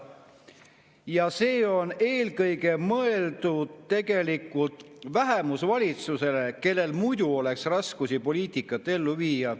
Ja see on eelkõige mõeldud tegelikult vähemusvalitsusele, kellel muidu oleks raske oma poliitikat ellu viia.